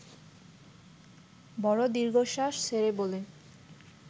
বড় দীর্ঘশ্বাস ছেড়ে বলে